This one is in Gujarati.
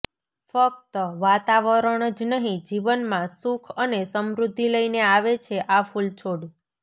ફક્ત વાતાવરણ જ નહીં જીવનમાં સુખ અને સમૃદ્ધિ લઈને આવે છે આ ફૂલછોડ